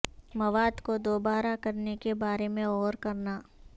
مواد کو دوبارہ کرنے کے بارے میں غور کرنا